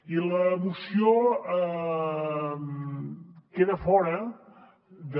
i la moció queda fora de